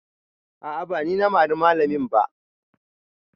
A'a ba ni na mari malamin ba